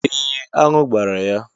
Ee, aṅụ gbara ya.